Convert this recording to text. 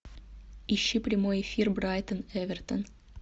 ищи прямой эфир брайтон эвертон